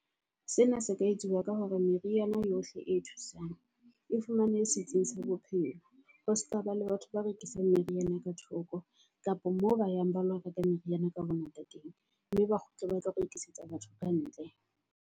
Sena se ka etsuwa ka hore meriana yohle e thusang e fumane setsing sa bophelo. Ho seka ba le batho ba rekisang meriana ka thoko, kapa moo ba yang ba lo reka meriana ka bongata teng. Mme ba kgutle ba tla rekisetsa batho kantle.